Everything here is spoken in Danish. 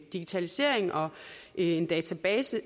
digitalisering og en database